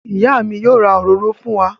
Ìyá mi yóò ra òróró fún wa.